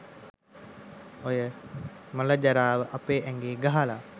ඔය මලජරාව අපේ ඇඟේ ගහල?